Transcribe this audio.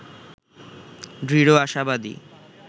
দৃঢ় আশাবাদী